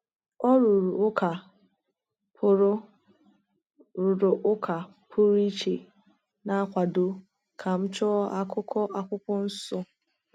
Ọ rụrụ ụka pụrụ rụrụ ụka pụrụ iche na-akwado ka m chọọ akụkụ Akwụkwọ Nsọ.